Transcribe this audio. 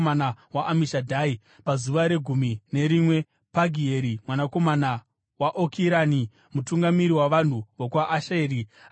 Pazuva regumi nerimwe, Pagieri mwanakomana waOkirani, mutungamiri wavanhu vokwaAsheri, akauya nechipiriso chake.